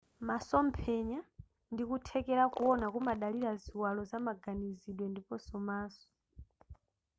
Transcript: masomphenya ndi kuthekera kuwona kumadalira ziwalo zamaganizidwe ndiponso maso